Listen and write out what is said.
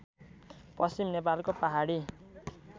पश्चिम नेपालको पहाडी